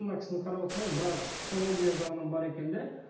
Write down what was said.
мына кісіні қарап отырсаңыз біраз психология жағынан бар екен де